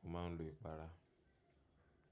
Mo ma ń lo ìpara.